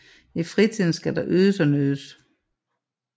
I fritiden skal der ydes og nydes